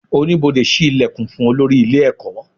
Oníbodè ṣí ìlẹ̀kùn fún olórí ilé ẹ̀kọ́